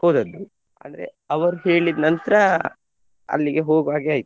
ಹೋದದ್ದು ಅಂದ್ರೆ ಅವರು ಹೇಳಿದ್ ನಂತ್ರ ಅಲ್ಲಿಗೆ ಹೋಗ್ವಾಗೆ ಆಯ್ತು.